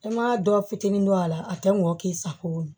E ma dɔ fitinin dɔ a la a tɛ mɔ k'i sago ye